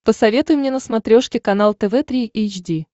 посоветуй мне на смотрешке канал тв три эйч ди